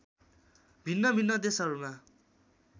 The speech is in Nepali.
भिन्नभिन्न देशहरूमा